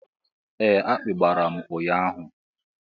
Ee akpị gbàrà m ụnyaahụ.